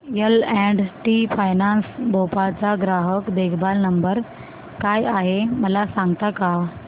L and T finance Bhopal चा ग्राहक देखभाल नंबर काय आहे मला सांगता का